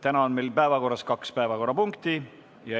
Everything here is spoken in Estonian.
Täna on meil päevakorras kaks päevakorrapunkti.